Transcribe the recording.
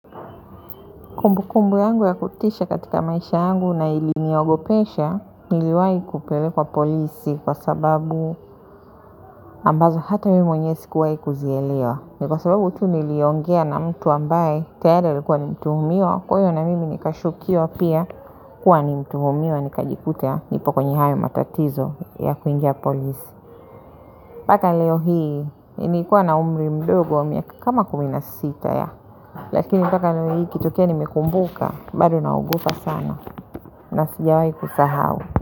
Kumbukumbu yangu ya kutisha katika maisha yangu na iliniogopesha niliwahi kupelekwa polisi kwa sababu ambazo hata mimi mwenyewe sikuwahi kuzielewa. Ni kwa sababu tu niliongea na mtu ambaye tayari alikuwa ni mtumiwa kwa hiyo na mimi nikashukiwa pia kuwa ni mtuhumiwa nikajikuta nipo kwenye hayo matatizo ya kuingia polisi. Mpaka leo hii nimekuwa na umri mdogo wa miaka kama kumi na sita ya lakini mpaka leo hii ikitokea nimekumbuka bado naogopa sana na sijawahi kusahau.